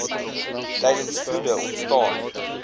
tydens vloede ontstaan